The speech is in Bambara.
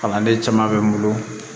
Kalanden caman bɛ n bolo